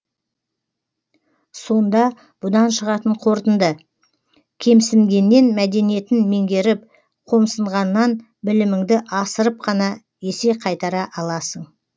сонда бұдан шығатын қорытынды кемсінгеннен мәдениетін меңгеріп қомсынғаннан білімінді асырып қана есе қайтара аласың